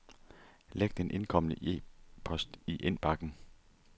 Læg den indkomne e-post i indbakken.